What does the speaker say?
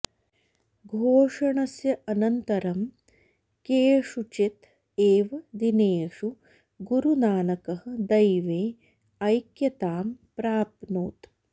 घोषणस्य अनन्तरं केषुचित् एव दिनेषु गुरुनानकः दैवे ऐक्यतां प्राप्नोत्